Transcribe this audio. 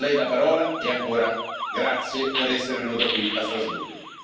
A Lei la parola, e ancora grazie per essere venuto qui a Strasburgo.